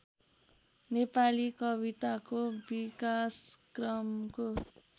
नेपाली कविताको विकासक्रमको